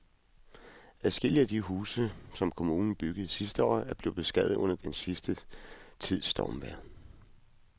Adskillige af de huse, som kommunen byggede sidste år, er blevet beskadiget under den sidste tids stormvejr.